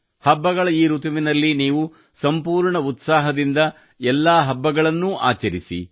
ಹಬ್ಬಗಳ ಈ ಋತುವಿನಲ್ಲಿ ನೀವು ಸಂಪೂರ್ಣ ಉತ್ಸಾಹದಿಂದ ಎಲ್ಲಾ ಹಬ್ಬಗಳನ್ನೂ ಆಚರಿಸಿ